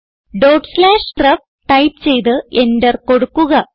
dot slash ref type ചെയ്ത് enter കൊടുക്കുക